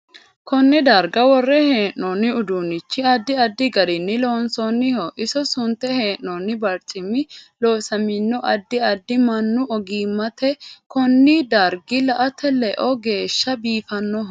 Konne darga worre heenoono uduunichi addi addi garinni loonsooniho iso sunte heenooni barcimi losamino addi addi mannnu ogimaniiti koni dargi la'ate leo geesha biifannoho